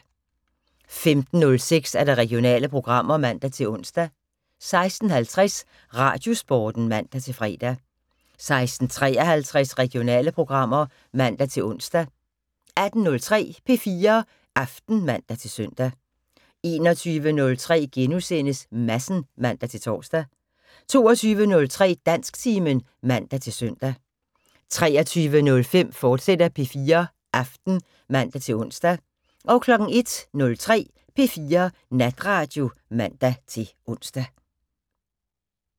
15:06: Regionale programmer (man-ons) 16:50: Radiosporten (man-fre) 16:53: Regionale programmer (man-ons) 18:03: P4 Aften (man-søn) 21:03: Madsen *(man-tor) 22:03: Dansktimen (man-søn) 23:05: P4 Aften, fortsat (man-ons) 01:03: P4 Natradio (man-ons)